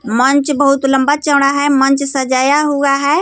मंच बहुत लंबा चौड़ा है मंच सजाया हुआ है.